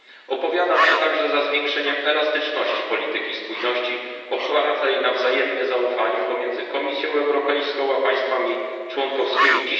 Opowiadam się także za zwiększeniem elastyczności polityki spójności opartej na wzajemnym zaufaniu pomiędzy Komisją Europejską a państwami członkowskimi.